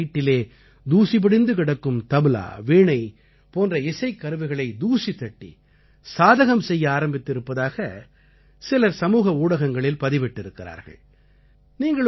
பல ஆண்டுகளாக வீட்டிலே தூசி படிந்து கிடக்கும் தப்லா வீணை போன்ற இசைக்கருவிகளை தூசிதட்டி சாதகம் செய்ய ஆரம்பித்து இருப்பதாகச் சிலர் சமூக ஊடகங்களில் பதிவிட்டிருக்கிறார்கள்